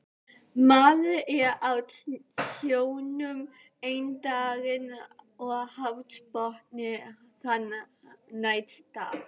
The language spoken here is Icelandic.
Maður er á sjónum einn daginn og hafsbotni þann næsta